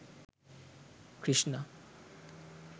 krishna